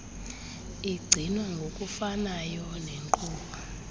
igcinwa ngokufanayo nenkqubo